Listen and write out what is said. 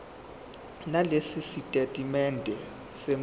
nalesi sitatimende semfihlo